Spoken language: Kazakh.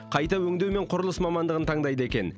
қайта өңдеу мен құрылыс мамандығын таңдайды екен